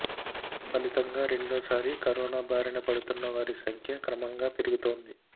ఫలితంగా రెండోసారి కరోనా బారిన పడుతున్న వారి సంఖ్య క్రమంగా పెరుగుతోంది